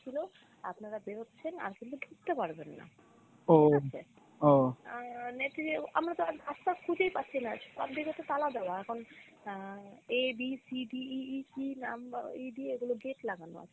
ছিল আপনারা বের হচ্ছেন আর কিন্তু ঢুকতে পারবেন না ঠিকাছে আমরা তো আশপাশ খুঁজেই পাচ্ছি না আর সব দিকে তো তালা দেওয়া এখন আহ A B C D E E কি number ই দিয়ে এগুলো gate লাগানো ।